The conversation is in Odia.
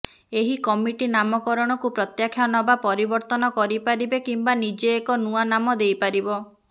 ଏହି କମିଟି ନାମକରଣକୁ ପ୍ରତ୍ୟାଖ୍ୟାନ ବା ପରିବର୍ତ୍ତନ କରିପାରିବେ କିମ୍ବା ନିଜେ ଏକ ନୂଆ ନାମ ଦେଇପାରିବ